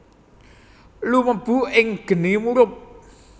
Lumebu ing geni murub